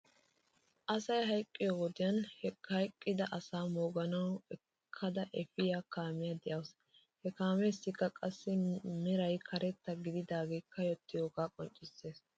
Asay hayqqiyoo wodiyan he hayqqida asaa mooguwaw ekkada efiyaa kaamiyaa de'awsu. He kaameessikka qassi meray karetta gididaagee kayyottiyoogaa qonccisses .